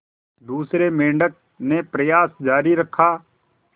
दूसरे मेंढक ने प्रयास जारी रखा